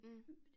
Mh